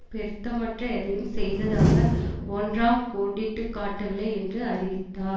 பெருத்தமற்ற எதையும் செய்ததாக ஒன்றாம் கோடிட்டுக்காட்டவில்லை என்று அறிவித்தா